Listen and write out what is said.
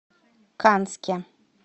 канске